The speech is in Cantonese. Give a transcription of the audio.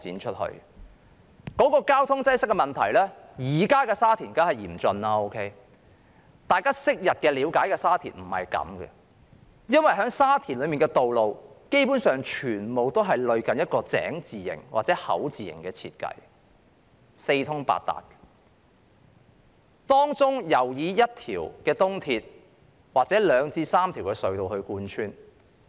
說到交通擠塞的問題，現在的沙田當然情況嚴峻，但大家了解昔日的沙田並非如此，因為沙田的道路基本上全部類近井字型或口字型設計，四通八達，當中尤以一條東鐵或兩至三條隧道貫穿。